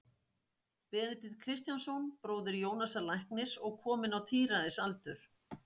Benedikt Kristjánsson, bróðir Jónasar læknis og kominn á tíræðisaldur.